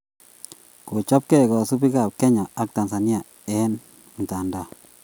Kochotgei kosubiikab Kenya ak Tanzania eng mtandao